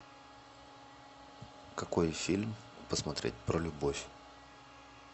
какой фильм посмотреть про любовь